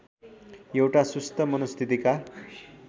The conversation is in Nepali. एउटा सुस्त मनस्थितिका